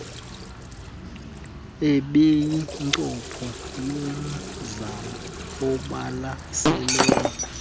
ebeyincopho yomzamo obalaseleyo